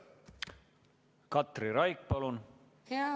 Katri Raik, palun!